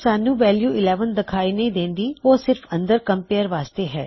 ਸਾਨ੍ਹੁ value 11 ਦਿਖਾਈ ਨਹੀ ਦੇਉਂਦੀ ਉਹ ਸਿਰਫ ਅੰਦਰ ਕੰਮਪੇਰਿਜਨ ਵਾਸਤੇ ਹੈ